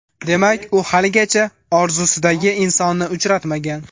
Demak, u haligacha orzusidagi insonni uchratmagan.